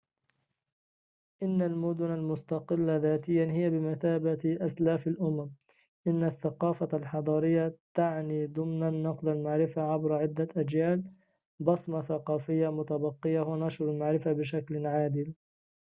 إن المدن المستقلة ذاتياً هي بمثابة أسلاف الأمم إن الثقافة الحضارية تعني ضمناً نقل المعرفة عبر عدة أجيال بصمة ثقافية متبقية ونشر المعرفة بشكل عادل